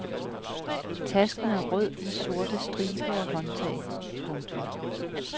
Tasken er rød med sorte striber og håndtag. punktum